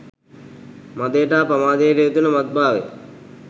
මදයට හා පමාදයට හේතුවෙන මත් භාවිතය